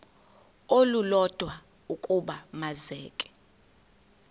olulodwa ukuba makeze